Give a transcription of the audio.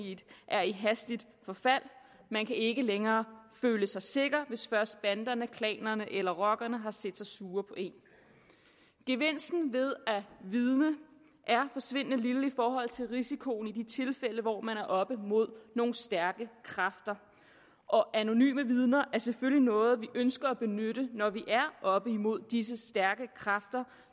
er i hastigt forfald og man kan ikke længere føle sig sikker hvis først banderne klanerne eller rockerne har set sig sure på en gevinsten ved at vidne er forsvindende lille i forhold til risikoen i de tilfælde hvor man er oppe mod nogle stærke kræfter og anonyme vidner er selvfølgelig noget vi ønsker at benytte når vi er oppe imod disse stærke kræfter